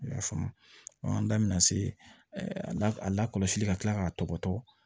I y'a faamu an da bina se a lakɔlɔsili ka kila k'a tɔgɔ